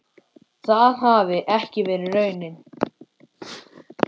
Það hafi ekki verið raunin.